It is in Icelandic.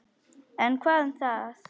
En hvað um það!